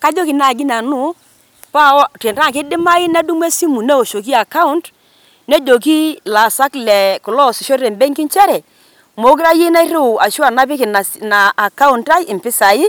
Kajoki naaji nanu tenaa keidimayu nedumu esimu newoshoki account nejoki laasak kulo loasisho te benki nchere meekure ayieu nairriu ashu apik ina account ai mpisai